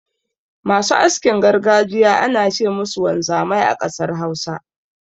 Masu askin gargajiya ana ce musu wanzamai a ƙasar Hausa.